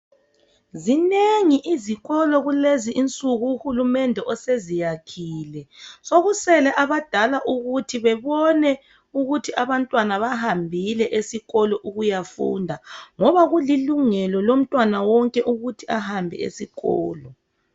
Zinengi izikolo kulezi insuku uhulumende oseziyakhile sokusele abadala ukuthi bebone ukuthi abantwana bahambile esikolo ukuyafunda ngoba kulilungelo lomntwana wonke ukuthi ahambe esikolo.